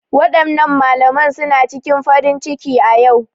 Waɗannan malaman suna cikin farin ciki a ƴau